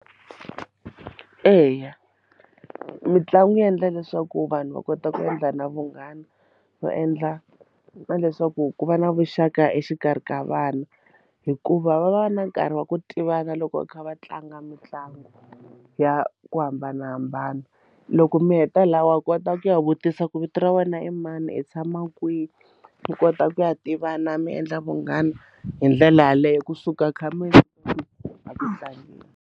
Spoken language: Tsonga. Eya mitlangu yi endla leswaku vanhu va kota ku endla na vunghana va endla na leswaku ku va na vuxaka exikarhi ka vana hikuva va va va na nkarhi wa ku tivana loko kha va tlanga mitlangu ya ku hambanahambana loko mi heta laha wa kota ku ya vutisa ku vito ra wena i mani i tshama kwihi mi kota ku ya tivana mi endla vunghana hi ndlela yaleyo kusuka kha mi tlangeni.